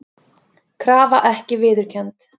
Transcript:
Krafa ekki viðurkennd